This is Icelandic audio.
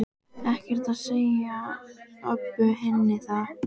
Ekkert að segja Öbbu hinni það.